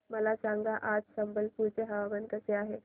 मला सांगा आज संबलपुर चे हवामान कसे आहे